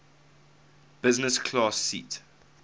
business class seat